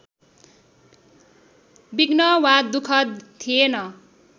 विघ्न वा दुःख थिएन